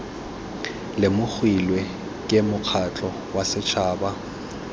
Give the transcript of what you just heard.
lemogilwe ke mokgatlho wa setšhaba